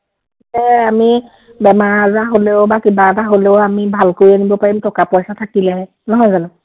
আমি বেমাৰ-আজাৰ হ’লেও বা কিবা এটা হ’লেও আমি ভাল কৰি আনিব পাৰিম টকা-পইচা থাকিলেহে, নহয় জানো?